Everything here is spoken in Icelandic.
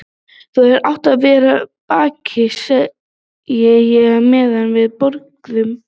Þú hefðir átt að verða bakari, segi ég meðan við borðum.